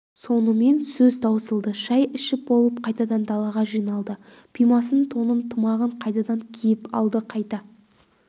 сонымен сөз таусылды шай ішіп болып қайтадан далаға жиналды пимасын тонын тымағын қайтадан киіп алды қайда